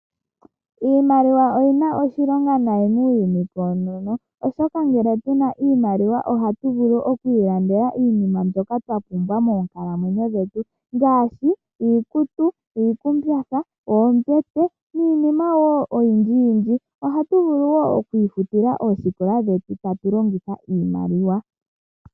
Iimaliwa oya simana muuyuni awuhe koonono oshoka ngele tuna iimaliwa ohatu vulu okwiilandela iinima mbyoka twapumbwa moonkalamwenyo dhetu ngaashi iikutu, oombete, iikumbatha niinima oyindji yindji. Ohatu vulu wo okwiifutila oosikola dhetu tatu longitha iimaliwa.